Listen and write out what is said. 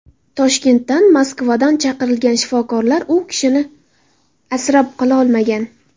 Toshkentdan, Moskvadan chaqirilgan shifokorlar u kishini asrab qololmagan.